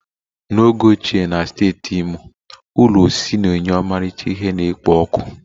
Na oge ochie na steeti Imo, ụlọ osisi na-enye ọmarịcha ihe na-ekpo ọkụ